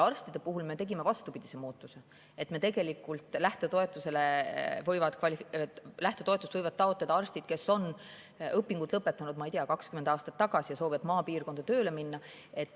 Arstide puhul me tegime vastupidise muutuse: lähtetoetust võivad taotleda arstid, kes on õpingud lõpetanud, ma ei tea, 20 aastat tagasi ja soovivad maapiirkonda tööle minna.